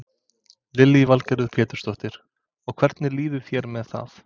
Lillý Valgerður Pétursdóttir: Og hvernig líður þér með það?